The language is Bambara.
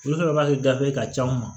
Olu ka baara kɛ gafe ka ca anw ma